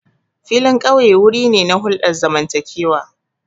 Filin ƙauye wuri ne na hulɗar zamantakewa.